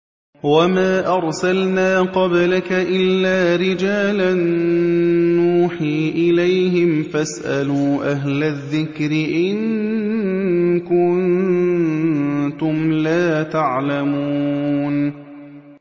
وَمَا أَرْسَلْنَا قَبْلَكَ إِلَّا رِجَالًا نُّوحِي إِلَيْهِمْ ۖ فَاسْأَلُوا أَهْلَ الذِّكْرِ إِن كُنتُمْ لَا تَعْلَمُونَ